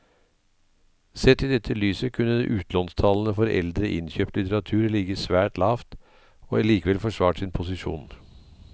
Sett i dette lyset kunne utlånstallene for eldre innkjøpt litteratur ligget svært lavt og likevel forsvart sin posisjon.